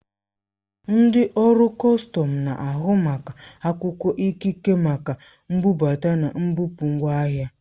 Ndị ọrụ kọstọm na-ahụ maka akwụkwọ ikike maka mbubata na mbupụ ngwa ahịa.